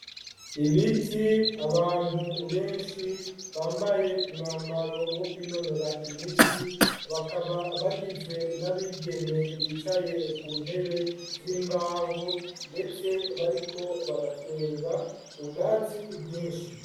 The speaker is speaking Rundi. Ibiti, abantu benshi bambaye umwambaro wo kwinonora imitsi bakaba bagizwe n'abigeme bicaye ku ntebe z'imbaho ndetse bariko baratwenga, ubwatsi bwinshi.